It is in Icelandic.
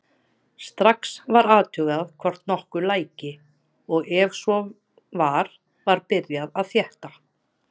Strax var athugað hvort nokkuð læki og ef svo var var byrjað að þétta.